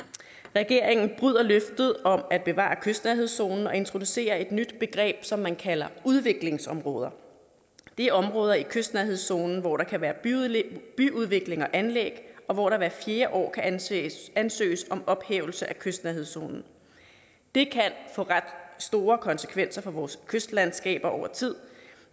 regeringen bryder løftet om at bevare kystnærhedszonen og introducerer et nyt begreb som man kalder udviklingsområde det er områder i kystnærhedszonen hvor der kan være byudvikling og anlæg og hvor der hvert fjerde år kan ansøges ansøges om ophævelse af kystnærhedszonen det kan få ret store konsekvenser for vores kystlandskaber over tid